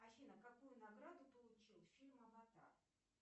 афина какую награду получил фильм аватар